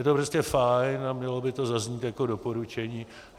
Je to prostě fajn a mělo by to zaznít jako doporučení.